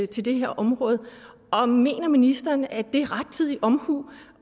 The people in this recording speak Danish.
til det her område og mener ministeren det er rettidig omhu